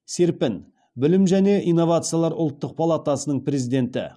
серпін білім және инновациялар ұлттық палатасының президенті